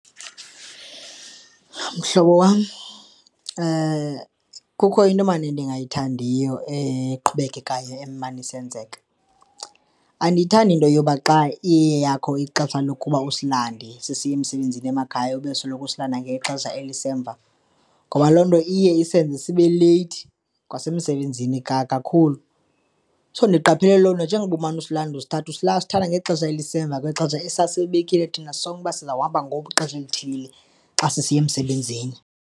Mhlobo wam, kukho into mani endingayithandiyo eqhubekekayo emane isenzeka. Andiyithandi into yoba xa iyeyakho ixesha lokuba usilande sisiya emsebenzini emakhaya ube usoloko usilanda ngexesha elisemva ngoba loo nto iye isenze sibe leyithi kwasemsebenzini kakhulu. So, ndiqaphele lonto njengokuba umane usilanda, usithatha usithatha ngexesha elisemva kwexesha esasilibekile thina sonke uba sizawuhamba ngexesha elithile xa sisiya emsebenzini.